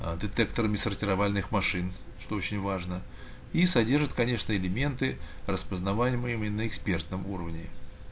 а детектерными сортировальных машин что очень важно и содержит конечно элементы распознавания именно на экспертном уровне